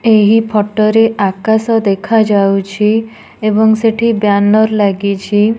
ଏହି ଫଟୋ ରେ ଆକାଶ ଦେଖାଯାଉଛି। ଏଵଂ ସେଠି ବ୍ୟାନର ଲାଗିଛି।